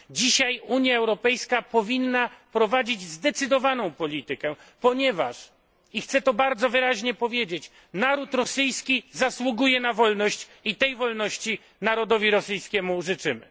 Dzisiaj Unia Europejska powinna prowadzić zdecydowaną politykę, ponieważ i chcę to bardzo wyraźnie powiedzieć naród rosyjski zasługuje na wolność i tej wolności narodowi rosyjskiemu życzymy.